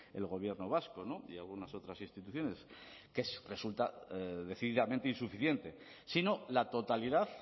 el gobierno vasco y algunas otras instituciones que resulta decididamente insuficiente sino la totalidad